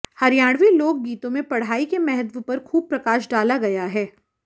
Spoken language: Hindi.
हरियाणवी लोक गीतों में पढ़ाई के महत्व पर खूब प्रकाश डाला गया है